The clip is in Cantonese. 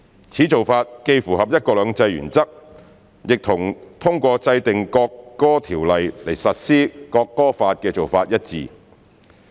此做法既符合"一國兩制"原則，亦和通過制定《國歌條例》來實施《國歌法》的做法一致。